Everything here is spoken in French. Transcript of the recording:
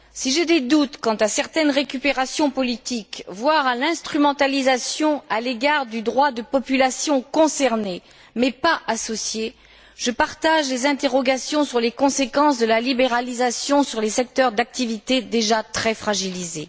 Si j'ai des doutes quant à certaines récupérations politiques, voire à l'instrumentalisation à l'égard du droit de populations concernées mais pas associées, je partage les interrogations sur les conséquences de la libéralisation sur les secteurs d'activité déjà très fragilisés.